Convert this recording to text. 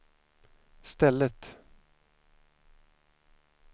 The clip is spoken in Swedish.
stället